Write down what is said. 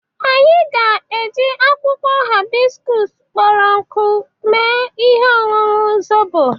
Anyị ga-eji akwụkwụ haịskọs kpụrụ nkụ mee ihe ọñụñụ zobo.